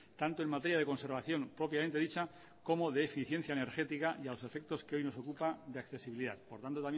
tanto en materia de conservación propiamente dicha como de eficiencia energética y a lo efectos que hoy nos ocupa de accesibilidad por tanto